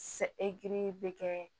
bɛ kɛ